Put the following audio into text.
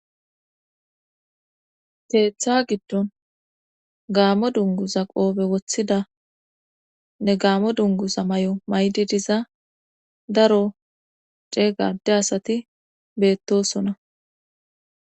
Teeththa giddon gaamo dunguza qoobe woththida ne gaamo dunguza may7o maydi diza daro cee gade asati beettosona